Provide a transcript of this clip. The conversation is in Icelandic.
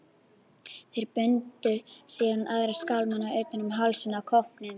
Þeir bundu síðan aðra skálmina utan um hálsinn á kópnum.